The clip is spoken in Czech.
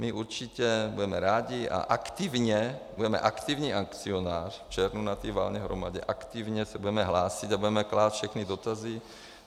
My určitě budeme rádi a aktivně, budeme aktivní akcionář v červnu na té valné hromadě, aktivně se budeme hlásit a budeme klást všechny dotazy.